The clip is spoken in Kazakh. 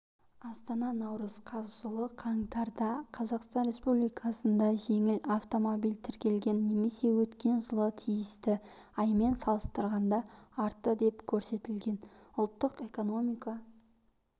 астана наурыз қаз жылғы қаңтарда қазақстан республикасында жеңіл автомобиль тіркелген немесе өткен жылғы тиісті аймен салыстырғанда артты деп көрсетілген ұлттық экономика